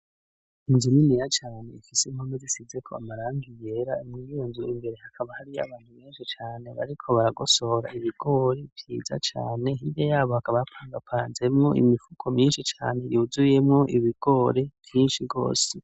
inzu niniya cane ifise impome zisizeko amarangi yera muriyo nzu imbere hakaba hariyo abantu benshi cane bariko baragosohora ibigori vyiza cane ,hirya yabo hakaba hapangapanzemo imifuko myinshi cane yuzuyemo ibigore vyinshi rwose.